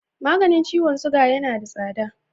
Maganin ciwon suga yana da tsada.